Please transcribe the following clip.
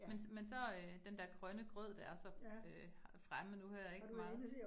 Men men så øh den der grønne grød, der er så øh fremme nu her ik meget